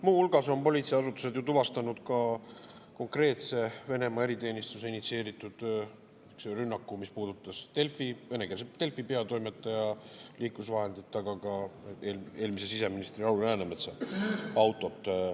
Muu hulgas on politseiasutused ju tuvastanud ka konkreetse Venemaa eriteenistuse initsieeritud rünnaku, mis puudutas venekeelse Delfi peatoimetaja liiklusvahendit, aga ka eelmise siseministri Lauri Läänemetsa autot.